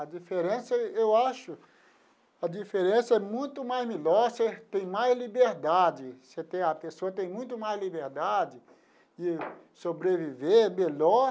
A diferença, eu acho, a diferença é muito mais melhor, você tem mais liberdade, você tem a pessoa tem muito mais liberdade de sobreviver melhor.